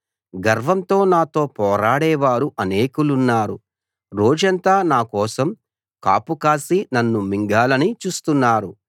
గర్వంగా నాతో పోరాడేవారు అనేకులున్నారు రోజంతా నా కోసం కాపు కాసి నన్ను మింగాలని చూస్తున్నారు